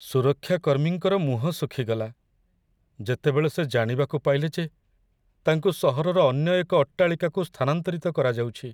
ସୁରକ୍ଷା କର୍ମୀଙ୍କର ମୁହଁ ଶୁଖିଗଲା, ଯେତେବେଳେ ସେ ଜାଣିବାକୁ ପାଇଲେ ଯେ ତାଙ୍କୁ ସହରର ଅନ୍ୟ ଏକ ଅଟ୍ଟାଳିକାକୁ ସ୍ଥାନାନ୍ତରିତ କରାଯାଉଛି।